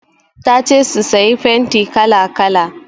Ta ce su sayi fenti kala-kala.